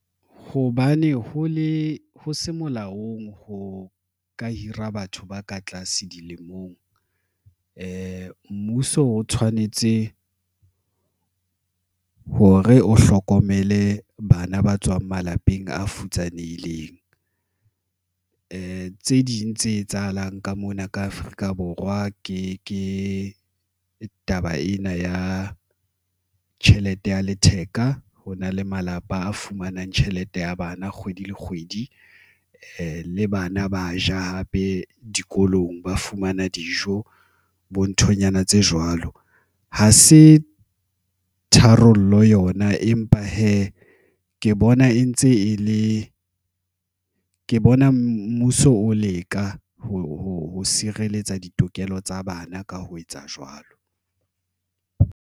Hobane ho le ho se molaong ho ka hira batho ba ka tlase dilemong, mmuso o tshwanetse hore o hlokomele bana ba tswang malapeng a futsanehileng tse ding tse etsahalang ka mona ka Afrika Borwa ke taba ena ya tjhelete ya letheka ho na le malapa a fumanang tjhelete ya bana kgwedi le kgwedi. Le bana ba ja hape dikolong, ba fumana dijo bo nthonyana tse jwalo. Ha se tharollo yona, empa hee ke bona e ntse e le, ke bona mmuso o leka ho sireletsa ditokelo tsa bana ka ho etsa jwalo.